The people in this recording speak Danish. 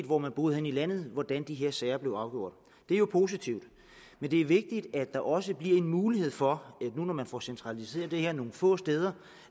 hvor man boede henne i landet hvordan de her sager blev afgjort det er jo positivt men det er vigtigt at der også bliver en mulighed for nu når man får centraliseret det her nogle få steder